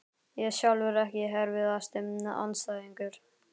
Ég sjálfur EKKI erfiðasti andstæðingur?